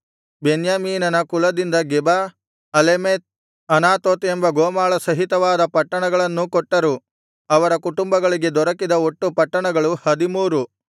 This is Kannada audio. ಬೆನ್ಯಾಮೀನನ ಕುಲದಿಂದ ಗೆಬ ಅಲೆಮೆತ್ ಅನಾತೋತ್ ಎಂಬ ಗೋಮಾಳಸಹಿತವಾದ ಪಟ್ಟಣಗಳನ್ನೂ ಕೊಟ್ಟರು ಅವರ ಕುಟುಂಬಗಳಿಗೆ ದೊರಕಿದ ಒಟ್ಟು ಪಟ್ಟಣಗಳು ಹದಿಮೂರು